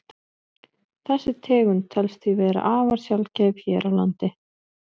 Þessi tegund telst því vera afar sjaldgæf hér á landi.